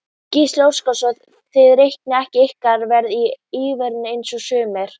Gísli Óskarsson: Þið reiknið ekki ykkar verð í evrum eins og sumir?